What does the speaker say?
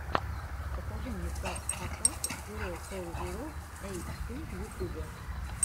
покажи мне пак атак зиро фор зиро эйт ту в ютубе